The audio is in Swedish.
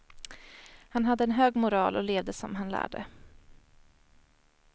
Han hade en hög moral och levde som han lärde.